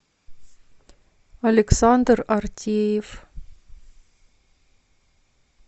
александр артеев